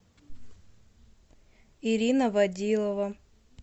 ирина водилова